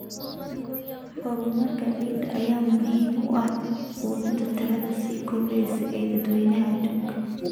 Horumarka ciidda ayaa muhiim u ah quudinta tirada sii kordheysa ee dadweynaha adduunka.